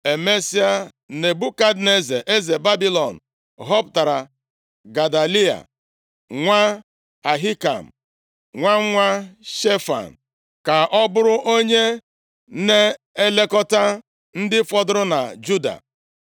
Emesịa, Nebukadneza eze Babilọn họpụtara Gedaliya nwa Ahikam, nwa nwa Shefan, ka ọ bụrụ onye na-elekọta ndị fọdụrụ na Juda,